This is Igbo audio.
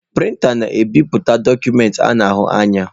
Prịnta na-ebipụta dọkụmentị a na-ahụ anya.